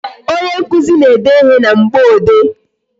Onye nkụzi na-ede ịhe na mgboode